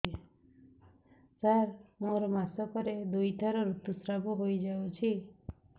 ସାର ମୋର ମାସକରେ ଦୁଇଥର ଋତୁସ୍ରାବ ହୋଇଯାଉଛି